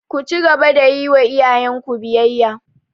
Ku cigaba da yiwa iyayen ku biyayya!